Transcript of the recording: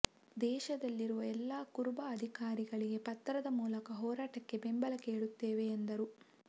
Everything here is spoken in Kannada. ದೇಶದಲ್ಲಿರುವ ಎಲ್ಲಾ ಕುರುಬ ಅಧಿಕಾರಿಗಳಿಗೆ ಪತ್ರದ ಮೂಲಕ ಹೋರಾಟಕ್ಕೆ ಬೆಂಬಲ ಕೇಳುತ್ತೇವೆ ಎಂದರು